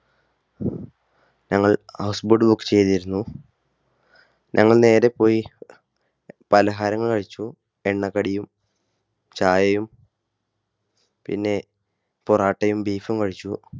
ഞങ്ങൾ house boat ചെയ്തിരുന്നു. ഞങ്ങൾ നേരെ പോയി പലഹാരങ്ങൾ കഴിച്ചു. എണ്ണ കടിയും ചായയും പിന്നെ പൊറാട്ടയും Beef ഉം കഴിച്ചു.